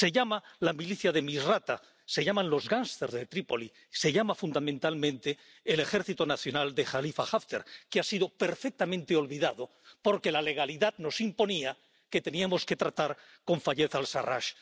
se llama la milicia de Misrata, se llama los gangsters de Trípoli, se llama fundamentalmente el Ejército Nacional de Jalifa Haftar, que ha sido perfectamente olvidado porque la legalidad nos imponía que teníamos que tratar con Fayez al Sarrach.